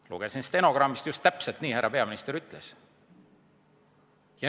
Lugesin stenogrammist, just täpselt nii härra peaminister ütles.